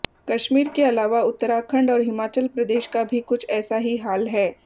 कश्मीर के अलावा उत्तराखंड और हिमाचल प्रदेश का भी कुछ ऐसा ही हाल है